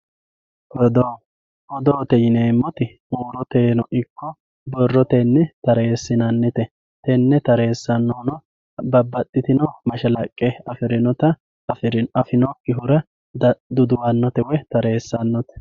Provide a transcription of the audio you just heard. oddo odoote yineemmoti huuroteyno ikko borrotenni tareessinannite tenne tareessannohuno babbaxxitino mashalaqqe afirinota afinokkihura duduwannote woy tareessannote